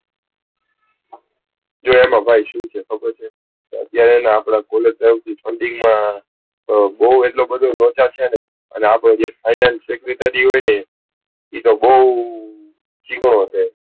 જો ભાઈ એમાં અત્યારે છે ને college funding માં બૌ લોચા છે અને અપનો finanace secretarory બૌ ચીકણો છે.